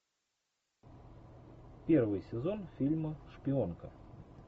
первый сезон фильма шпионка